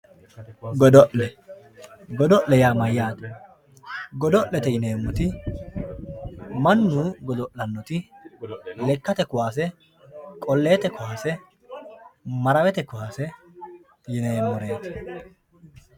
Godo`lle godo`lle yaa mayate godo`lete yineemoti mannu godolanoti lekate kowasse koleete kowase marawete kowase yineemoreti.